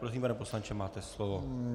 Prosím, pane poslanče, máte slovo.